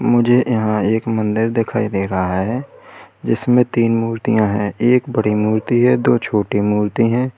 मुझे यहां एक मंदिर दिखाई दे रहा है जिसमें तीन मूर्तियां हैं। एक बड़ी मूर्ति है और दो छोटी मूर्ति है।